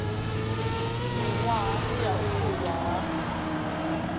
miṅwahani ya u fulwa ha